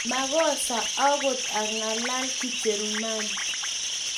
makose akot ang'alan Kijerumani